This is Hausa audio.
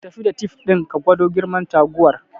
Tafi da tif din ka gwado girman taguwar